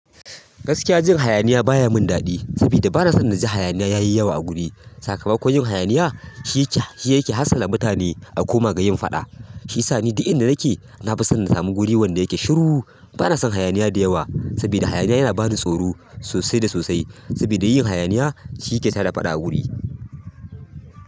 Gaskiya jin hayaniya baya mun daɗi, saboda bana son na ji hayaniya yayi yawa a guri. Sakamakon yin hayaniya shi yake, shi yake hassala mutane a koma ga yin faɗa. Shi sa ni duk inda nake na fi son na sami guri wanda yake shiru. Bana son hayaniya da yawa sabida hayaniya yana bani tsoro sosai da sosai. Saboda yin hayaniya shi yake tada faɗa a guri.